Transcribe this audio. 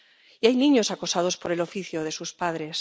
Y hay niños acosados por el oficio de sus padres.